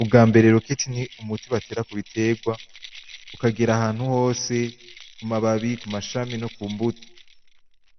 Ubwambere roketi ni umuti batera kubiterwa ukagera ahantu hose mumababi, kumashami no kumbuto,